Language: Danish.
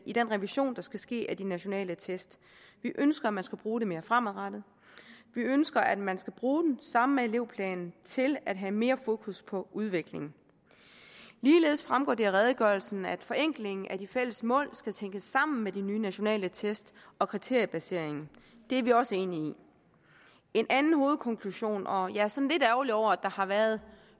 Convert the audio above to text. i den revision der skal ske af de nationale test vi ønsker at man skal bruge dem mere fremadrettet vi ønsker at man skal bruge dem sammen med elevplanen til at have mere fokus på udviklingen ligeledes fremgår det af redegørelsen at forenklingen af de fælles mål skal tænkes sammen med de nye nationale test og kriteriebaseringen det er vi også enige i en anden hovedkonklusion og jeg er sådan lidt ærgerlig over at der har været